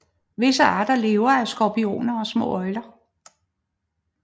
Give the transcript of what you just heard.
Visse arter lever af skorpioner og små øgler